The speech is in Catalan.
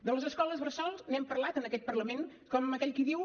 de les escoles bressol n’hem parlat en aquest parlament com aquell qui diu